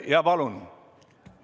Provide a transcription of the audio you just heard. Jaa, palun!